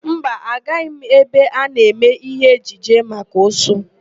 Mba, agaghị m ebe a na-eme ihe ejije maka ụsụ.